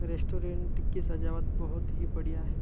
Restaurant की सजावट बहुत ही बढ़िया है।